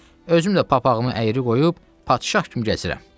Özüm də papaqımı əyri qoyub padşah kimi gəzirəm,